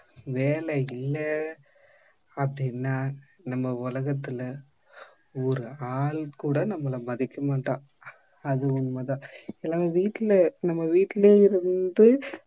வேலையில்ல அப்டின்னா நம்ம உலகத்துல ஒரு ஆள் கூட நம்மல மதிக்க மாட்டான். அதுவும் உண்மை தான். இப்பலாம் வீட்டுல நம்ம வீட்டுலே இருந்து